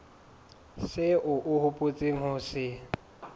seo o hopotseng ho se